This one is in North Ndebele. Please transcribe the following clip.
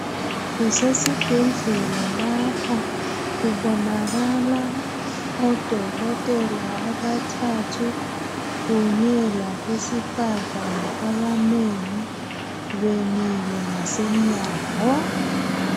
Kusesibhedlela lapha kubonakala odokotela abathathu kunye labezifazana abanengi bemile ngasemnyango.